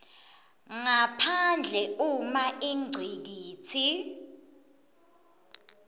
ngaphandle uma ingcikitsi